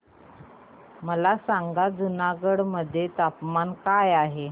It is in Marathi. मला सांगा जुनागढ मध्ये तापमान काय आहे